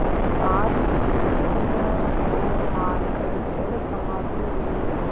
सात दस्युओं को मारकर जलसमाधि ली